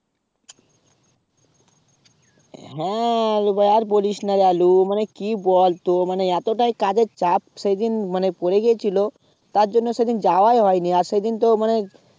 হ্যাঁ আলু ভাই আর বলিস না আলু মানে কি বলতো মানে এতটাই কাজ এর চাপ মানে সেদিন, মানে পড়ে গেছিলো তার জন্য সেদিন যাওয়ায় হয়নি আর সেদিন তো মানে